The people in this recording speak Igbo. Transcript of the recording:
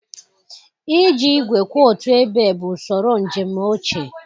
Iji igwe kwụ otu ebe bụ usoro njem ochie.